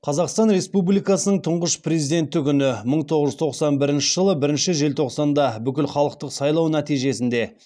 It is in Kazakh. қазақстан республикасының тұңғыш президенті күні мың тоғыз жүз тоқсан бірінші жылы бірінші желтоқсанда бүкіл халықтық сайлау нәтижесінде